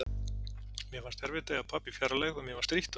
Mér fannst erfitt að eiga pabba í fjarlægð og mér var strítt á því.